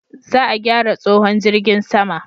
Za a gyara tsohon jirgin sama